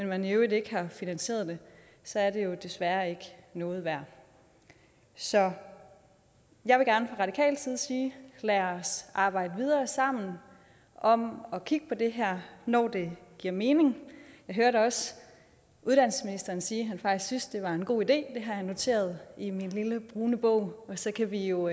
man i øvrigt ikke har finansieret det så er det jo desværre ikke noget værd så jeg vil gerne fra radikal side sige lad os arbejde videre sammen om at kigge på det her når det giver mening jeg hørte også uddannelsesministeren sige at han faktisk synes det er en god idé det har jeg noteret i min lille brune bog og så kan vi jo